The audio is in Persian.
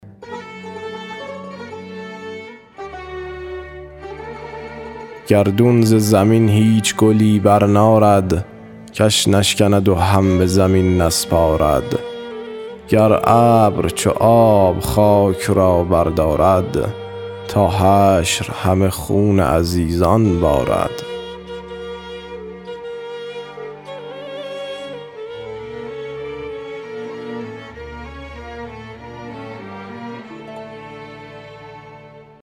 گردون ز زمین هیچ گلی برنارد کش نشکند و هم به زمین نسپارد گر ابر چو آب خاک را بردارد تا حشر همه خون عزیزان بارد